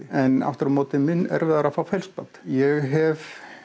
en aftur á móti er mun erfiðara að fá ég hef